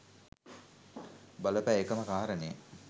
බල පෑ එකම කාරණය